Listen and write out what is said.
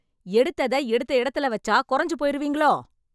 எடுத்தத எடுத்த எடத்தில வச்சா கொறஞ்சு போயிருவீங்களோ